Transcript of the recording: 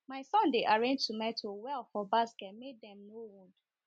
my son dey arrange tomato well for basket make dem no wound